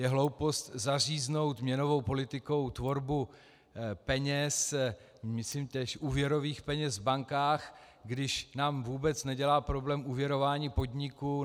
Je hloupost zaříznout měnovou politikou tvorbu peněz, myslím též úvěrových peněz v bankách, když nám vůbec nedělá problém úvěrování podniků.